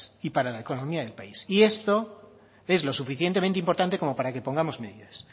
y para la economía del país y esto es lo suficientemente importante como para que pongamos medidas